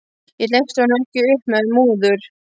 Ég hleypti honum ekki upp með múður.